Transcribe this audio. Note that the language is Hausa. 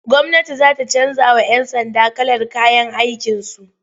Gwamnati za ta canjawa'yan sanda kalar kayan aikinsu.